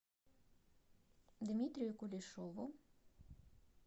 дмитрию кулешову